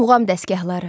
Muğam dəstgahları.